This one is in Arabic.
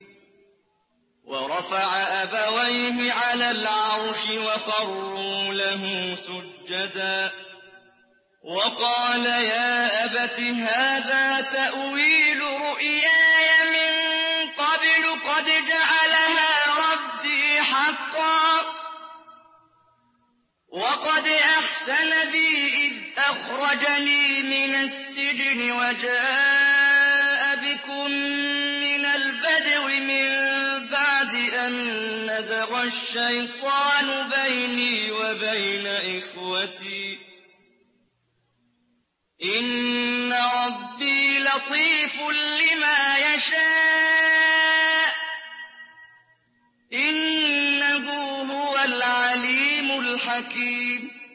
وَرَفَعَ أَبَوَيْهِ عَلَى الْعَرْشِ وَخَرُّوا لَهُ سُجَّدًا ۖ وَقَالَ يَا أَبَتِ هَٰذَا تَأْوِيلُ رُؤْيَايَ مِن قَبْلُ قَدْ جَعَلَهَا رَبِّي حَقًّا ۖ وَقَدْ أَحْسَنَ بِي إِذْ أَخْرَجَنِي مِنَ السِّجْنِ وَجَاءَ بِكُم مِّنَ الْبَدْوِ مِن بَعْدِ أَن نَّزَغَ الشَّيْطَانُ بَيْنِي وَبَيْنَ إِخْوَتِي ۚ إِنَّ رَبِّي لَطِيفٌ لِّمَا يَشَاءُ ۚ إِنَّهُ هُوَ الْعَلِيمُ الْحَكِيمُ